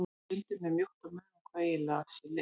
Stundum er mjótt á munum hvað eiginlega sé leif.